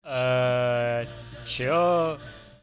все